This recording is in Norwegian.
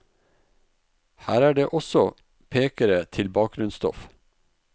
Her er det også pekere til bakgrunnsstoff.